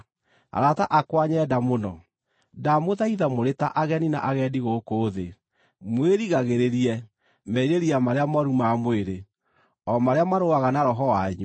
Arata akwa nyenda mũno, ndamũthaitha mũrĩ ta ageni na agendi gũkũ thĩ, mwĩrigagĩrĩrie merirĩria marĩa mooru ma mwĩrĩ, o marĩa marũaga na roho wanyu.